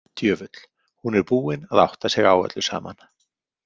Djöfull, hún er búin að átta sig á öllu saman.